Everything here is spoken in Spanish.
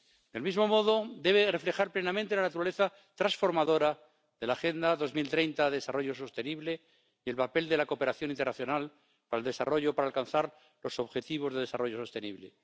Del mismo modo, debe reflejar plenamente la naturaleza transformadora de la Agenda 2030 de Desarrollo Sostenible y el papel de la cooperación internacional al desarrollo para alcanzar los objetivos de desarrollo sostenible.